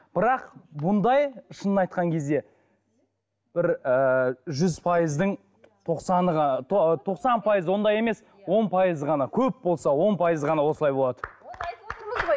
бірақ бұндай шынын айтқан кезде бір ыыы жүз пайыздың тоқсаны ғана тоқсан пайызы ондай емес он пайызы ғана көп болса он пайызы ғана осылай болады